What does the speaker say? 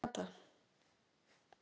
Agatha